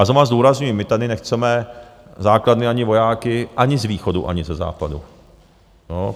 A znovu zdůrazňuji, my tady nechceme základny ani vojáky ani z východu, ani ze západu.